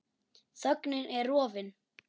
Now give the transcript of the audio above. Þögnin er rofin.